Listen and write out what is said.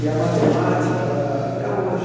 E a matemática, ela até hoje.